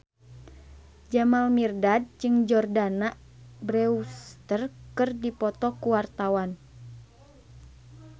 Jamal Mirdad jeung Jordana Brewster keur dipoto ku wartawan